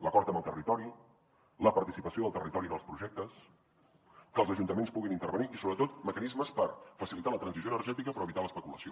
l’acord amb el territori la participació del territori en els projectes que els ajuntaments puguin intervenir i sobretot mecanismes per facilitar la transició energètica però evitar l’especulació